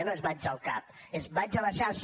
no és vaig al cap és vaig a la xarxa